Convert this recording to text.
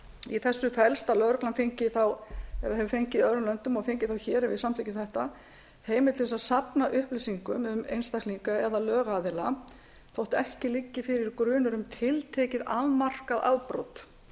í þessu felst að lögreglan hefur fengið í öðrum löndum og fengi þá hér ef við samþykkjum þetta heimild til að safna upplýsingum um einstaklinga eða lögaðila þó ekki liggi fyrir grunur um tiltekið afmarkað afbrot